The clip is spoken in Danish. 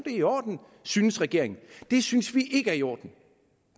i orden synes regeringen det synes vi ikke er i orden